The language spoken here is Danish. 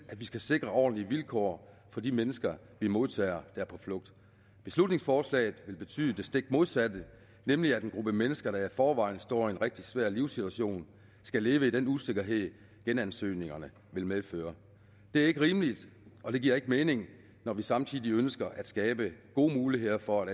vi skal sikre ordentlige vilkår for de mennesker vi modtager der er på flugt beslutningsforslaget vil betyde det stik modsatte nemlig at en gruppe mennesker der i forvejen står i en rigtig svær livssituation skal leve i den usikkerhed genansøgningerne vil medføre det er ikke rimeligt og det giver ikke mening når vi samtidig ønsker at skabe gode muligheder for